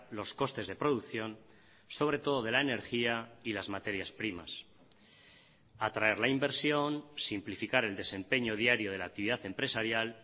los costes de producción sobre todo de la energía y las materias primas atraer la inversión simplificar el desempeño diario de la actividad empresarial